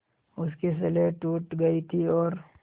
उसकी स्लेट टूट गई थी और